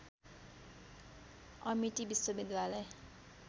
Amity विश्वविद्यालय